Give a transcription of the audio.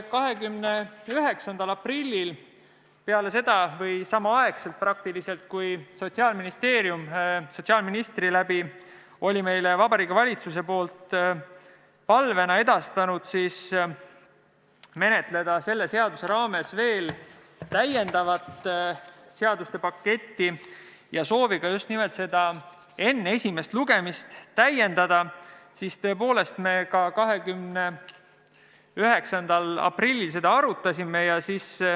29. aprillil, peale seda või peaaegu samal ajal, kui Sotsiaalministeerium sotsiaalministri suu läbi oli meile Vabariigi Valitsuse nimel edastanud palve menetleda selle seaduse raames veel täiendavat seaduste paketti, sooviga eelnõu enne esimest lugemist täiendada, me tõepoolest seda arutasime.